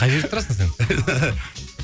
қай жерде тұрасың сен